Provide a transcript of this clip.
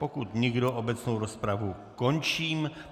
Pokud nikdo, obecnou rozpravu končím.